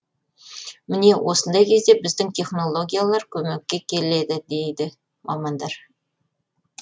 міне осындай кезде біздің технологиялар көмекке келеді дейді мамандар